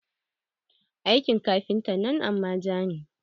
Aikin kafintan nan amaja ne.